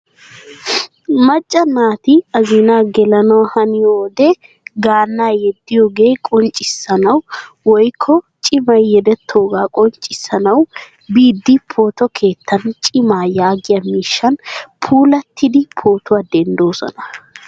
Macca naati azinaa gelanawu haniyode gaana yeediyoga qonccissanawu woykko cimmay yeedetoga qonccissanawu biidi pooto keettan cimma yaagiyaa miishshan puulattidi pootuwaa dendoosona.